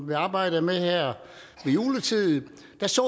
vi arbejdede med det her ved juletid så